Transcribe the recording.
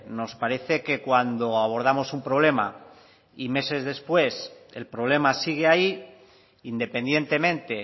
nos parece que cuando abordamos un problema y meses después el problema sigue ahí independientemente